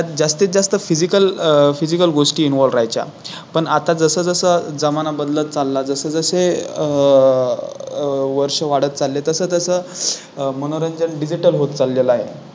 त्यात जास्तीत जास्त Physical अह Physical गोष्टी Involve राहायच्या, पण आता जसं जसं जमाना बदलत चालला जसजसे अह अह वर्ष वाढत चालले तसतसं मनोरंजन Digital होत चाललेल आहे.